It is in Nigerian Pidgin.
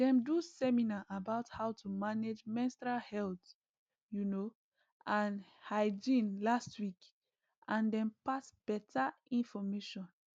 them do seminar about how to manage menstrual health you know and hygiene last week and them pass better information